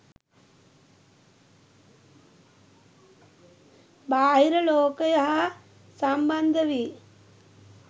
බාහිර ලෝකය හා සම්බන්ධ වී